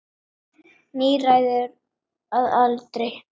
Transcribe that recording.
Níræður að aldri.